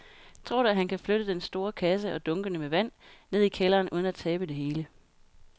Tror du, at han kan flytte den store kasse og dunkene med vand ned i kælderen uden at tabe det hele?